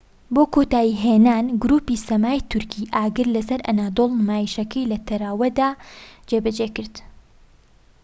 بۆ کۆتایی هێنان گروپی سەمای تورکی ئاگر لە سەر ئەنەدۆڵ نمایشەکەی لە تەروادە جێبەجێکرد